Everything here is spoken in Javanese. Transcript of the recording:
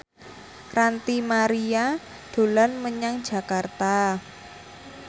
Ranty Maria dolan menyang Jakarta